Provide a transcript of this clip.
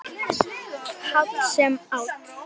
Háll sem áll.